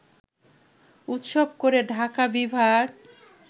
উৎসব করে ঢাকা বিভাগ